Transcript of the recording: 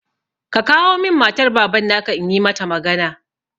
Ka kawo min matar Baban na ka, in yi mata magana!